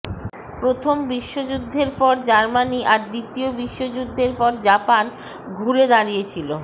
প্রথম বিশ্বযুদ্ধের পর জার্মানি আর দ্বিতীয় বিশ্বযুদ্ধের পর জাপান ঘুরে দাঁড়িয়েছিল